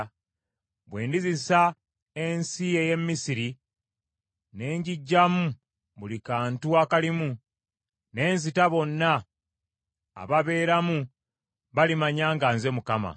Bwe ndizisa ensi ey’e Misiri, ne ngiggyamu buli kantu akalimu, ne nzita bonna ababeeramu, balimanya nga nze Mukama .’